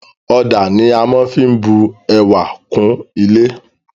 Ọ̀dà ni a maá fí bu ẹwà kún ilé